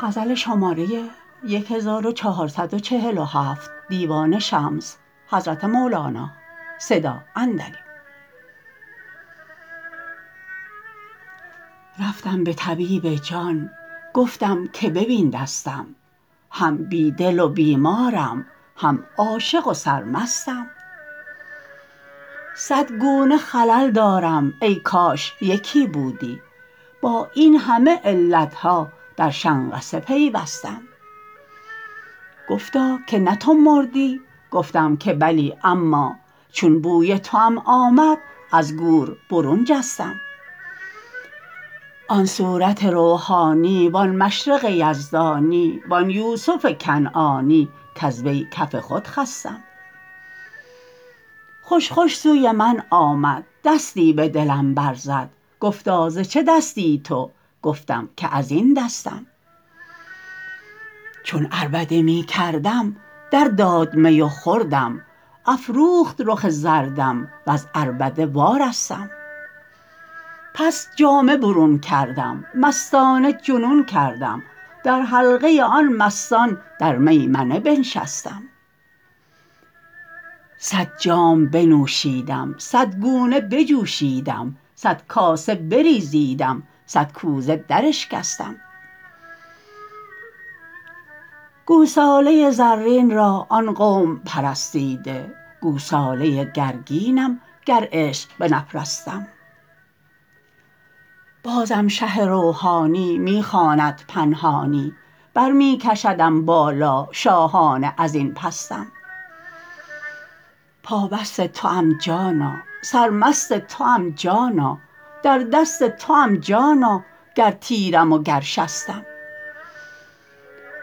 رفتم به طبیب جان گفتم که ببین دستم هم بی دل و بیمارم هم عاشق و سرمستم صد گونه خلل دارم ای کاش یکی بودی با این همه علت ها در شنقصه پیوستم گفتا که نه تو مردی گفتم که بلی اما چون بوی توام آمد از گور برون جستم آن صورت روحانی وان مشرق یزدانی وان یوسف کنعانی کز وی کف خود خستم خوش خوش سوی من آمد دستی به دلم برزد گفتا ز چه دستی تو گفتم که از این دستم چون عربده می کردم درداد می و خوردم افروخت رخ زردم وز عربده وارستم پس جامه برون کردم مستانه جنون کردم در حلقه آن مستان در میمنه بنشستم صد جام بنوشیدم صد گونه بجوشیدم صد کاسه بریزیدم صد کوزه دراشکستم گوساله زرین را آن قوم پرستیده گوساله گرگینم گر عشق بنپرستم بازم شه روحانی می خواند پنهانی بر می کشدم بالا شاهانه از این پستم پابست توام جانا سرمست توام جانا در دست توام جانا گر تیرم وگر شستم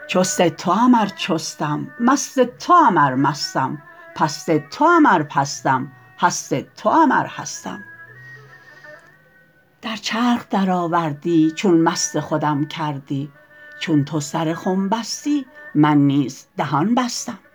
چست توام ار چستم مست توام ار مستم پست توام ار پستم هست توام ار هستم در چرخ درآوردی چون مست خودم کردی چون تو سر خم بستی من نیز دهان بستم